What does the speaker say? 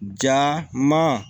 Ja man